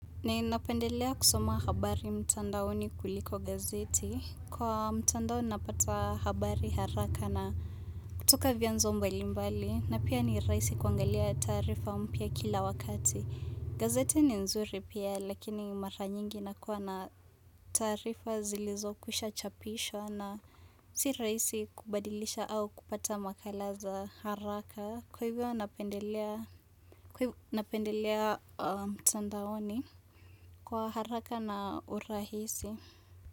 Ninapendelea kusoma habari mtandaoni kuliko gazeti kwa mtandaoni napata habari haraka na kutoka vyanzo mbalimbali na pia ni rahisi kuangalia taarifa mpya kila wakati gazeti ni nzuri pia lakini mara nyingi inakuwa na taarifa zilizokwisha chapishwa na Si rahisi kubadilisha au kupata makala za haraka kwa hivyo napendelea mtandaoni kwa haraka na urahisi.